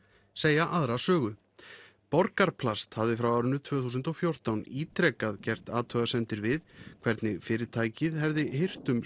segja aðra sögu Borgarplast hafði frá árinu tvö þúsund og fjórtán ítrekað gert athugasemdir við hvernig fyrirtækið hefði hirt um